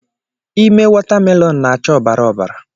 Ime watamelonu na-acha ọbara obara